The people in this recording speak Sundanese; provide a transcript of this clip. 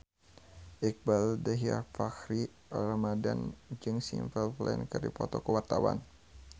Iqbaal Dhiafakhri Ramadhan jeung Simple Plan keur dipoto ku wartawan